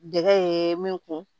Dege min kun